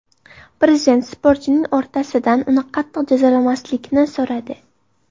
Prezident sportchining otasidan uni qattiq jazolamaslikni so‘radi .